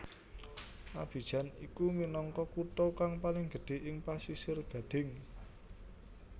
Abidjan iku minangka kutha kang paling gedhé ing Pasisir Gadhing